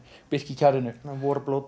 birkikjarrinu